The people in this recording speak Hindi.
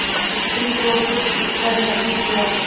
स्त्री को कुछ उत्तर नहीं दिया